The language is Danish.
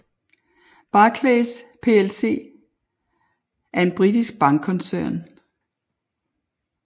Barclays plc er en britisk bankkoncern